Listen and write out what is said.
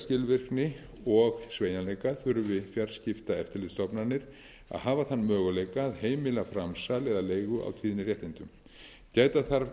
skilvirkni og sveigjanleika þurfi fjarskiptaeftirlitsstofnanir að hafa þann möguleika að heimila framsal eða leigu á tíðniréttindum gæta þarf